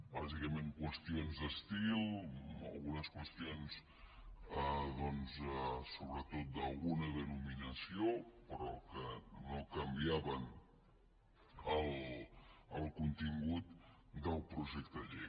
bàsicament qüestions d’estils algunes qüestions doncs sobretot d’alguna denominació però que no canviaven el contingut del projecte de llei